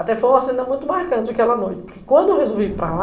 Até foi uma cena muito marcante aquela noite, porque quando eu resolvi ir para lá,